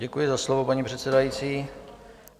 Děkuji za slovo, paní předsedající.